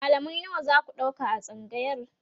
mallamai nawa zaku ɗauka a tsangayar?